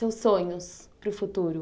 Seus sonhos para o futuro?